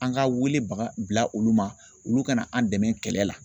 An ka wele baga bila olu ma olu ka na an dɛmɛ kɛlɛ la.